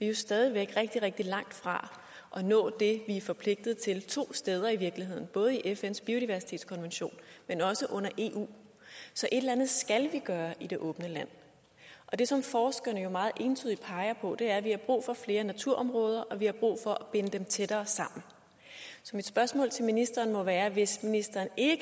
jo stadig væk rigtig rigtig langt fra at nå det vi er forpligtet til to steder i virkeligheden både i fns biodiversitetskonvention men også under eu så et eller andet skal vi gøre i det åbne land og det som forskerne jo meget entydigt peger på er at vi har brug for flere naturområder og at vi har brug for at binde dem tættere sammen så mit spørgsmål til ministeren må være hvis ministeren ikke